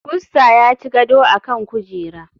Pussa ya ci gado a kan kujera.